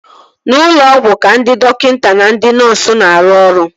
N'ụlọ ọgwụ ka ndị dọkịta na ndị nọọsu na-arụ ọrụ